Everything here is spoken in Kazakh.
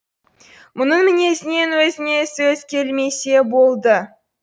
мұның мінезінен өзіне сөз келмесе болды